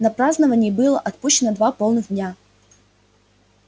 на празднование было отпущено два полных дня